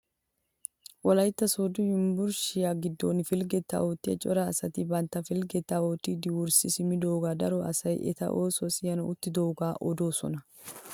Wolaytta sooddo yunburushiyaa giddon pilgettaa oottiyaa cora asati bantta pilgettaa oottidi wurssi simmidogaa daro asay eta oosuwaa siyanawu uttidaagawu odoosona.